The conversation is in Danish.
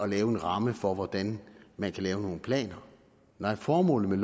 lave en ramme for hvordan man kan lave nogle planer nej formålet med